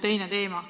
See on teine teema.